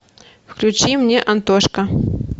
включи мне антошка